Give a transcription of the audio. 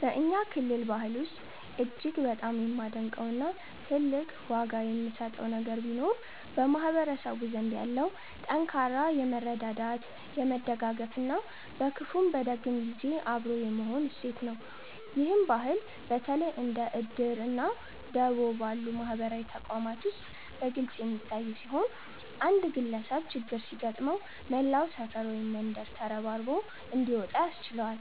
በእኛ ክልል ባህል ውስጥ እጅግ በጣም የማደንቀው እና ትልቅ ዋጋ የምሰጠው ነገር ቢኖር በማህበረሰቡ ዘንድ ያለው ጠንካራ የመረዳዳት፣ የመደጋገፍ እና በክፉም በደግም ጊዜ አብሮ የመሆን እሴት ነው። ይህ ባህል በተለይ እንደ 'እድር' እና 'ደቦ' ባሉ ማህበራዊ ተቋማት ውስጥ በግልጽ የሚታይ ሲሆን፣ አንድ ግለሰብ ችግር ሲገጥመው መላው ሰፈር ወይም መንደር ተረባርቦ እንዲወጣ ያስችለዋል።